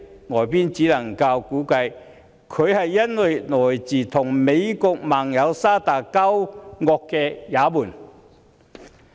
外界只能估計，原因是她來自與美國盟友沙特交惡的也門。